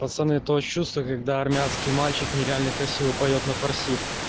пацаны то чувство когда армянский мальчик нереально красиво поёт на фарси